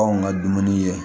Anw ka dumuni ye